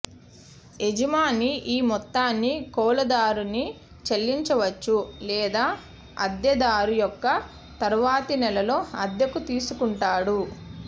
యజమాని ఈ మొత్తాన్ని కౌలుదారుని చెల్లించవచ్చు లేదా అద్దెదారు యొక్క తరువాతి నెలలో అద్దెకు తీసుకుంటాడు